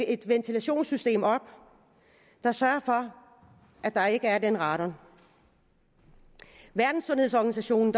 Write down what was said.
et ventilationssystem op der sørger for at der ikke er den radon verdenssundhedsorganisationen